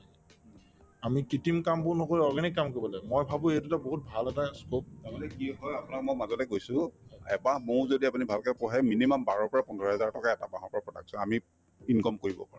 তাৰমানে কি হয় আপোনাক মই মাজতে কৈছো এবাহ মৌ যদি আপুনি ভালকে পোহে minimum বাৰৰ পৰা পোন্ধৰ হাজাৰ টকা এটা মাহৰ পৰা production আমি income কৰিব পাৰো